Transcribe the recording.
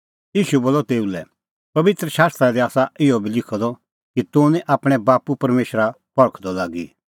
ईशू बोलअ तेऊ लै पबित्र शास्त्रा दी आसा इहअ बी लिखअ द कि तूह निं आपणैं बाप्पू परमेशरा परखदअ लागी